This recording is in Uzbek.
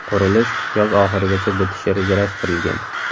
Qurilish yoz oxirigacha bitishi rejalashtirilgan.